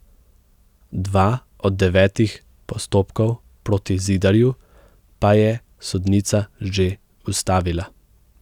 Dva od devetih postopkov proti Zidarju pa je sodnica že ustavila.